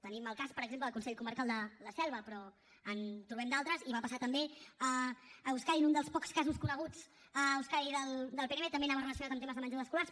tenim el cas per exemple del consell comarcal de la selva però en trobem d’altres i va passar també a euskadi un dels pocs casos coneguts a euskadi del pnb també anava relacionat amb temes de menjadors escolars